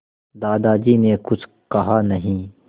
दादाजी ने कुछ कहा नहीं